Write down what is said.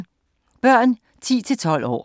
Børn 10-12 år